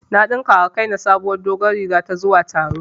Na ɗinka wa kaina sabuwar doguwar riga ta zuwa taro